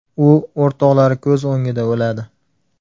U o‘rtoqlari ko‘z o‘ngida o‘ladi.